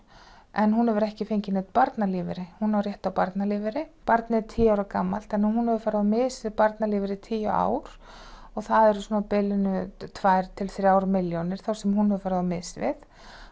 en hún hefur ekki fengið neinn barnalífeyri hún á rétt á barnalífeyri barnið er tíu ára gamalt þannig að hún hefur farið á mis við barnalífeyri í tíu ár og það eru á bilinu tvær til þrjár milljónir sem hún hefur farið á mis við